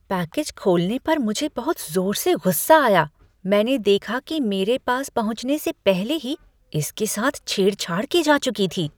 Package खोलने पर मुझे बहुत ज़ोर से गुस्सा आया मैंने देखा कि मेरे पास पहुंचने से पहले ही इसके साथ छेड़छाड़ की जा चुकी थी।